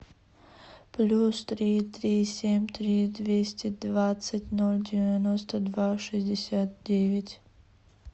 плюс три три семь три двести двадцать ноль девяносто два шестьдесят девять